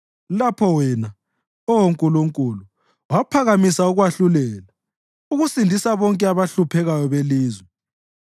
lapho wena, Oh Nkulunkulu, waphakama ukwahlulela, ukusindisa bonke abahluphekayo belizwe.